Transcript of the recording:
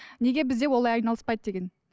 неге бізде олай айналыспайды деген